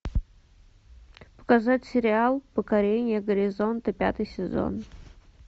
показать сериал покорение горизонта пятый сезон